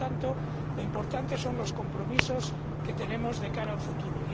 Por tanto, lo importante son los compromisos que tenemos de cara al futuro.